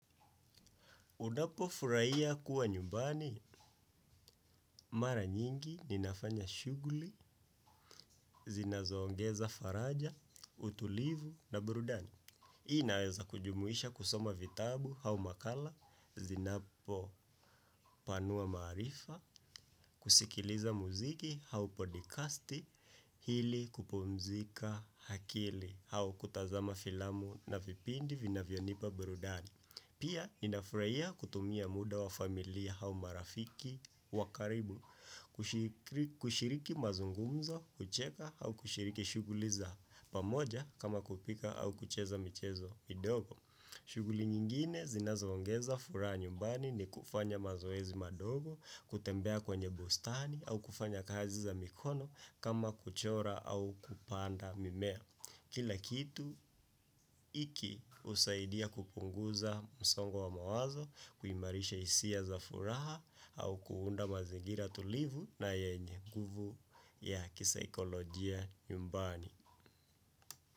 Unapo furahia kuwa nyumbani, mara nyingi, ninafanya shughuli, zinazoongeza faraja, utulivu na brudani. Inaweza kujumuisha kusoma vitabu au makala, zinapo panua maarifa, kusikiliza muziki au podcasti, ili kupumzika akili au kutazama filamu na vipindi vinavyonipa brudani. Pia, ninafurahia kutumia muda wa familia au marafiki wa karibu, kushiriki mazungumzo, kucheka au kushiriki shughuli za pamoja kama kupika au kucheza michezo midogo. Shughuli nyingine zinazo ongeza furaha nyumbani ni kufanya mazoezi madogo, kutembea kwenye bustani au kufanya kazi za mikono kama kuchora au kupanda mimea. Kila kitu hiki husaidia kupunguza msongo wa mawazo kuimarisha hisia za furaha au kuunda mazingira tulivu na yenye nguvu ya kisaikolojia nyumbani.